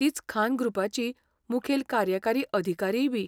तीच खान ग्रुपाची मुखेल कार्यकारी अधिकारीयबी.